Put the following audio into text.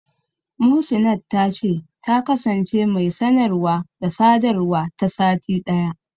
Muhsinat ta ce, ta kasance mai sanarwa/sadawa ta sati ɗaya.